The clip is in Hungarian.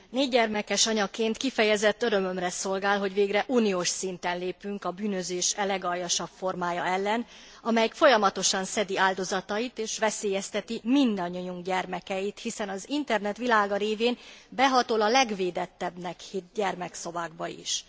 Négygyermekes anyaként kifejezett örömömre szolgál, hogy végre uniós szinten lépünk a bűnözés e legaljasabb formája ellen, amelyik folyamatosan szedi áldozatait, és veszélyezteti mindannyiunk gyermekeit, hiszen az internet világa révén behatol a legvédettebbnek hitt gyermekszobákba is.